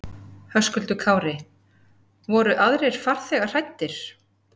Höskuldur Kári: Voru aðrir farþegar hræddir?